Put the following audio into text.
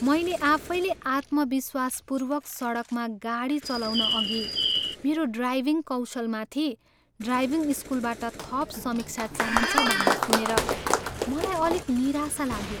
मैले आफैले आत्मविश्वासपूर्वक सडकमा गाडी चलाउन अघि मेरो ड्राइभिङ कौशलमाथि ड्राइभिङ स्कुलबाट थप समीक्षा चाहिन्छ भन्ने सुनेर मलाई अलिक निराशा लाग्यो।